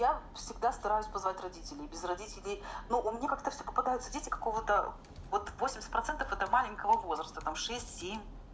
я всегда стараюсь позвать родителей без родителей но мне как то всё попадаются дети какого то вот восемьдесят процентов этого маленького возраста там шесть семь